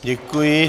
Děkuji.